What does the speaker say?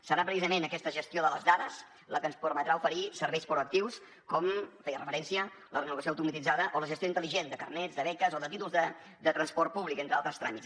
serà precisament aquesta gestió de les dades la que ens permetrà oferir serveis proactius com feia referència la renovació automatitzada o la gestió intel·ligent de carnets de beques o de títols de transport públic entre altres tràmits